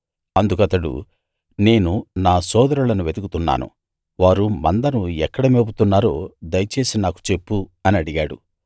అందుకతడు నేను నా సోదరులను వెదుకుతున్నాను వారు మందను ఎక్కడ మేపుతున్నారో దయచేసి నాకు చెప్పు అని అడిగాడు